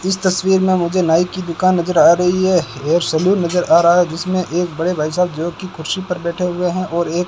इस तस्वीर में मुझे नाई की दुकान नजर आ रही है हेयर सैलून नजर आ रहा है जिसमें एक बड़े भाई साहब जो की कुर्सी पर बैठे हुए हैं और एक --